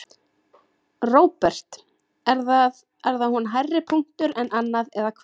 Róbert: Er það, er hún hærri punktur en annað eða hvað?